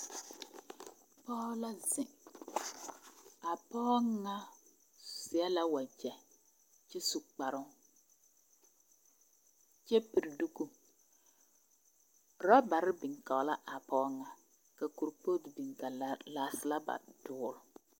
Pɔɔ la zeŋ. A pɔɔ ŋa seɛ la wagyɛ kyɛ su kparoŋ. Kyɛ piri duku. Rɔbare biŋ kɔɔ la a pɔɔ ŋa, ka kurpootu biŋ ka laa laaselaba dool.